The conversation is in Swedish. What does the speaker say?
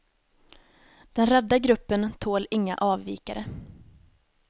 Den rädda gruppen tål inga avvikare.